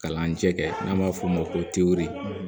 Kalanjɛ kɛ n'an b'a f'o ma ko teri